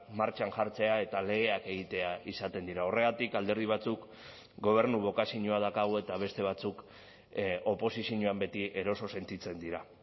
martxan jartzea eta legeak egitea izaten dira horregatik alderdi batzuk gobernu bokazioa daukagu eta beste batzuk oposizioan beti eroso sentitzen dira